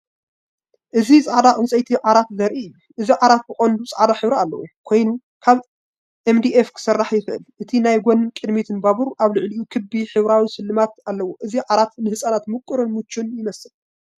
እzi ጻዕዳ ዕንጨይቲ ዓራት ዘርኢ እዩ። እቲ ዓራት ብቐንዱ ጻዕዳ ሕብሪ ዘለዎ ኮይኑ ካብ ኤምዲኤፍ ክስራሕ ይኽእል። እቲ ናይ ጎኒን ቅድሚትን ባቡር ኣብ ልዕሊኡ ክቢ፣ ሕብራዊ ስልማት ኣለዎ። እዚ ዓራት ንህጻናት ምቁርን ምቹእን ይመስል።